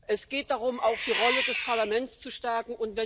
Es geht darum, auch die Rolle des Parlaments zu stärken.